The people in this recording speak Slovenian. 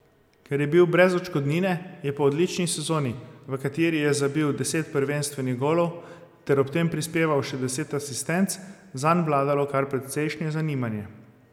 Ker je bil brez odškodnine, je po odlični sezoni, v kateri je zabil deset prvenstvenih golov ter ob tem prispeval še deset asistenc, zanj vladalo kar precejšnje zanimanje.